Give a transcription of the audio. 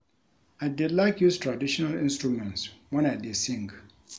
I dey like use traditional instruments wen I dey sing